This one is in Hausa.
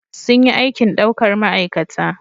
Sun yi aikin daukar ma'aikata